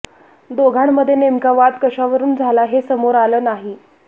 दोघांमध्ये नेमका वाद कशावरुन झाला हे समोर आलं नाही